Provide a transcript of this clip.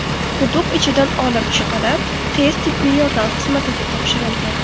quduq ichidan olib chiqilib, tez-tibbiy yordam xizmatiga topshirilgan.